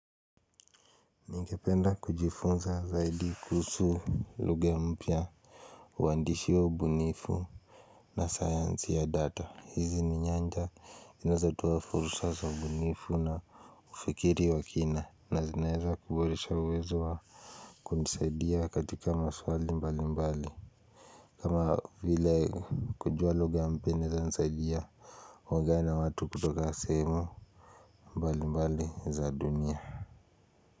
Ningependa kujifunza zaidi kuhusu lugha mpya Uwandishi wa ubunifu na science ya data hizi ni nyanja zinazotoa fursa za ubunifu na Fikiri wa kina na zinaeza kuboresha uwezo wa kunisaidia katika maswali mbali mbali kama vile kujua lugha mpya inaeza nisaidia Mwagana watu kutoka sehemu mbali mbali za dunia.